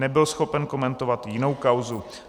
Nebyl schopen komentovat jinou kauzu.